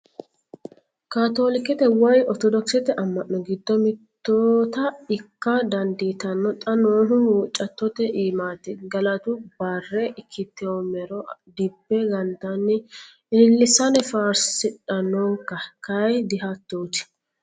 Katolikkete woyi orthodokisete ama'no giddo mittota ikka dandiittano xa noohu huuccattote iimati gallatu bare ikkittomero dibbe gantanni ililisanni faarsidhanonka kayi dihattoti.